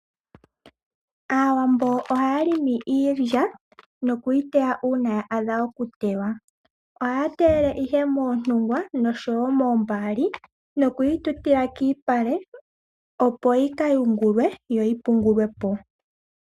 Aawambo oha ya longo iilya, nokuyi teya uuna ya adha okutewa . Oha ya teyele ihe moontungwa noshowo moombaali nokuyi tutila kiipale, opo yi ka yungulwe yo yi pungulwe po.